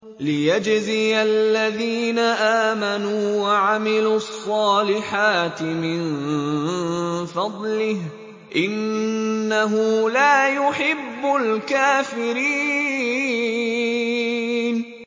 لِيَجْزِيَ الَّذِينَ آمَنُوا وَعَمِلُوا الصَّالِحَاتِ مِن فَضْلِهِ ۚ إِنَّهُ لَا يُحِبُّ الْكَافِرِينَ